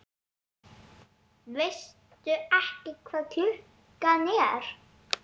Veistu ekki hvað klukkan er?